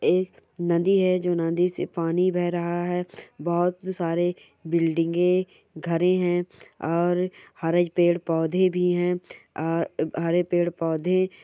एक नदी है जो नदी से पानी बह रहा है बहोत सारे बिंल्डिगे घरे है और हरे पेड़-पौधे भी है और हरे पेड़-पौधे--